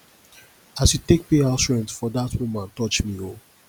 as you take pay house rent for dat woman touch me o